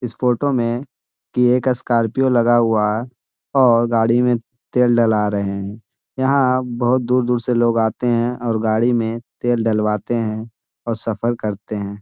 इस फोटो मे की एक स्कॉर्पियो लगा हुआ है और गाड़ी मे तेल डला रहे हैं। यहां बोहुत दूर-दर से लोग है आते हैं और गाड़ी मे तेल डलवाते हैं और सफर करते है।